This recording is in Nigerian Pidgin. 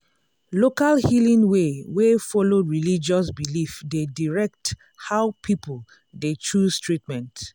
local healing way wey follow religious belief dey direct how people dey choose treatment.